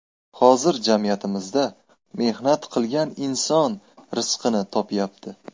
Hozir jamiyatimizda mehnat qilgan inson rizqini topyapti.